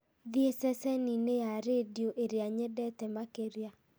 thiĩ ceceni-inĩ ya rĩndiũ ĩrĩa nyendete makĩria